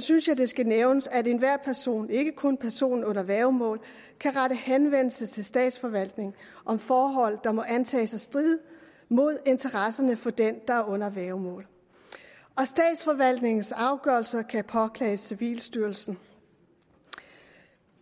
synes jeg det skal nævnes at enhver person ikke kun personen under værgemål kan rette henvendelse til statsforvaltningen om forhold der må antages at stride mod interesserne for den der er under værgemål og statsforvaltningens afgørelser kan påklages civilstyrelsen